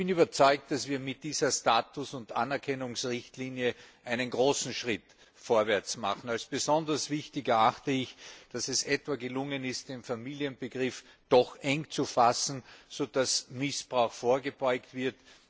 Ich bin überzeugt, dass wir mit dieser Status und Anerkennungsrichtlinie einen großen Schritt vorwärts machen. Als besonders wichtig erachte ich, dass es gelungen ist, den Familienbegriff eng zu fassen, sodass Missbrauch vorgebeugt wird.